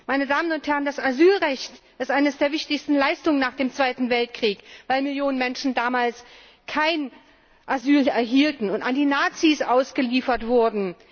Meine Damen und Herren, das Asylrecht ist eine der wichtigsten Errungenschaften nach dem Zweiten Weltkrieg, weil Millionen Menschen damals kein Asyl erhielten und an die Nazis ausgeliefert wurden.